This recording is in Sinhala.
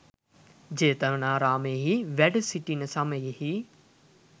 ජේතවනාරාමයෙහි වැඩසිිටින සමයෙහි